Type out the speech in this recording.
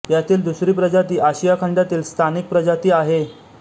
यातील दुसरी प्रजाती आशिया खंडातील स्थानिक प्रजाती आहे